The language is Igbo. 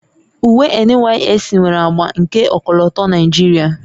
Uwe NYSC nwere agba nke ọkọlọtọ Naijiria